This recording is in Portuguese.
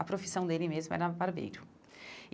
A profissão dele mesmo era barbeiro.